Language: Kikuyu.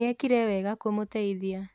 Nĩekire wega kũmũteithia